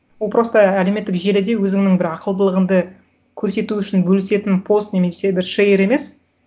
ол просто әлеуметтік желіде өзіңнің бір ақылдылығыңды көрсету үшін бөлісетін пост немесе бір шейер емес